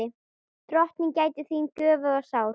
Drottin gæti þín göfuga sál.